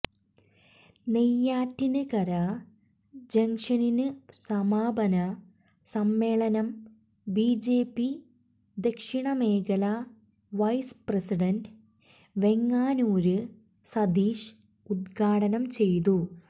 നെയ്യാറ്റിന്കര ജംഗ്ഷനിന് സമാപന സമ്മേളനം ബിജെപി ദക്ഷിണ മേഖല വൈസ് പ്രസിഡന്റ് വെങ്ങാനൂര് സതീഷ് ഉദ്ഘാടനം ചെയ്തു